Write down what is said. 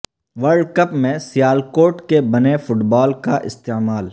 world cup میں سیالکوٹ کے بنے فٹ بال کا استعمال